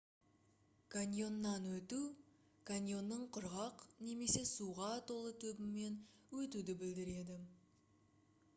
каньоннан өту каньонның құрғақ немесе суға толы түбімен өтуді білдіреді